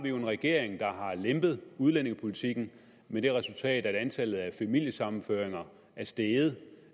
jo en regering der har lempet udlændingepolitikken med det resultat at antallet af familiesammenføringer er steget